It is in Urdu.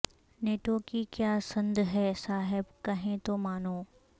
نیٹو کی کیا سند ہے صاحب کہیں تو مانوں